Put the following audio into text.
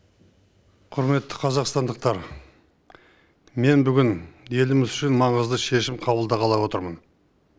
құрметті қазақстандықтар мен бүгін еліміз үшін маңызды шешім қабылдағалы отырмын